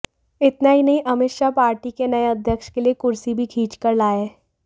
इतना ही नहीं अमित शाह पार्टी के नए अध्यक्ष के लिए कुर्सी भी खींचकर लाए